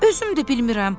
Özüm də bilmirəm.